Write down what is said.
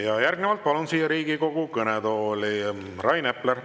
Nii, järgnevalt palun siia Riigikogu kõnetooli Rain Epleri.